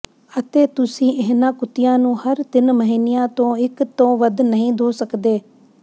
ਅਤੇ ਤੁਸੀਂ ਇਹਨਾਂ ਕੁੱਤਿਆਂ ਨੂੰ ਹਰ ਤਿੰਨ ਮਹੀਨਿਆਂ ਤੋਂ ਇਕ ਤੋਂ ਵੱਧ ਨਹੀਂ ਧੋ ਸਕਦੇ